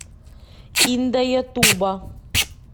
индаятуба